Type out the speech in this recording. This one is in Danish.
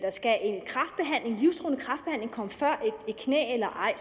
skal komme før behandlingen af et knæ eller ej